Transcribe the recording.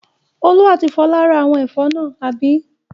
Olú àti Fọlá rẹ́ àwọn ẹ̀fọ́ náà, àbí?